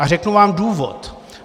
A řeknu vám důvod.